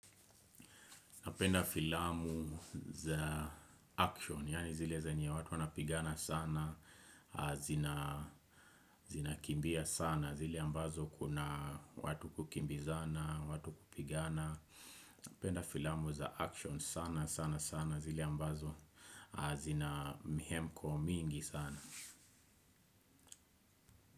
Napenda filamu za action, yani zile zenye watu wanapigana sana, zina kimbia sana, zile ambazo kuna watu kukimbizana, watu kupigana. Napenda filamu za action sana, sana sana, zile ambazo zina mihemko mingi sana.